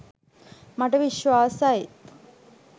මට විශ්වාසයි